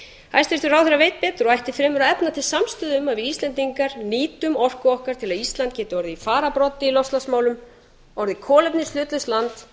hæstvirtur ráðherra veit betur og ætti fremur að efna til samstöðu um að við íslendingar nýtum orku okkur okkar til að ísland geti orðið í fararbroddi í loftslagsmálum orðið kolefnishlutlaust land helst